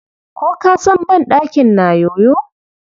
Ko ka san banɗakin na yoyo.